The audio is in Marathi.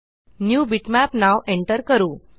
न्यू बिटमॅप नाव एन्टर करू